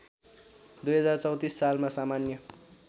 २०३४ सालमा सामान्य